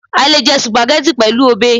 a le jẹ Sùpàgẹ́tì pẹlu obe